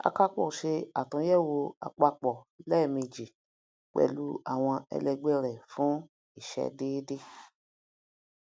akapo se àtúnyẹwò àpapọ lèèmejì pẹlu àwọn ẹlẹgbẹ rẹ fún ìṣẹdédé